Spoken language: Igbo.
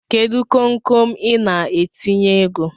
Kedu konkon Ị na-etinye ego?